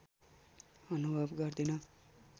अनुभव गर्दिन